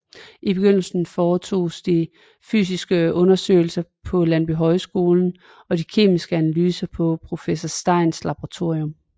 I begyndelsen foretoges de fysiske undersøgelser på Landbohøjskolen og de kemiske analyser i professor Steins Laboratorium